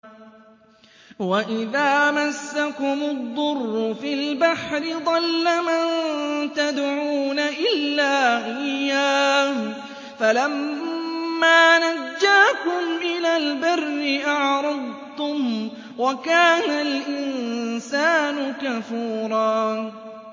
وَإِذَا مَسَّكُمُ الضُّرُّ فِي الْبَحْرِ ضَلَّ مَن تَدْعُونَ إِلَّا إِيَّاهُ ۖ فَلَمَّا نَجَّاكُمْ إِلَى الْبَرِّ أَعْرَضْتُمْ ۚ وَكَانَ الْإِنسَانُ كَفُورًا